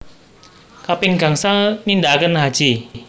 Kaping gangsal nindaaken haji